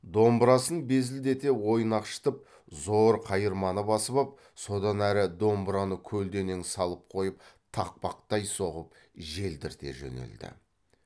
домбырасын безілдете ойнақшытып зор қайырманы басып ап содан әрі домбыраны көлденең салып қойып тақпақтай соғып желдірте жөнелді